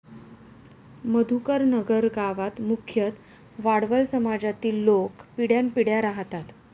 मधुकरनगर गावात मुख्यतः वाडवळ समाजातील लोक पिढ्यांपिढ्या राहतात.